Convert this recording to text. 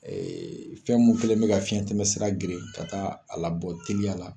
fɛn mun kɛlen bɛ ka fiyɛn tɛmɛn sira geren ka taa a labɔ teliya la.